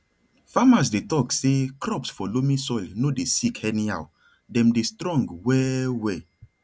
farmers dey talk say crops for loamy soil no dey sick anyhow dem dey strong well well